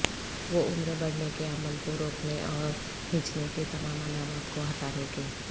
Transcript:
وہ عمر بڑھنے کے عمل کو روکنے اور ھیںچنے کے تمام علامات کو ہٹانے کے